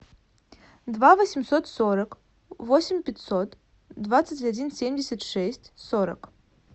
два восемьсот сорок восемь пятьсот двадцать один семьдесят шесть сорок